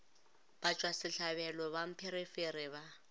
batšwa sehlabelo ba mpherefere ba